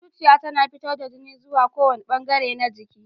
Zuciya tana fitar da jini zuwa kowane bangare na jiki.